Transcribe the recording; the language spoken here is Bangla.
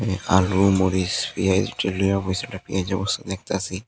আলু মরিচ পিঁয়াজ এইসব লিয়া বইসে দেখতাসি।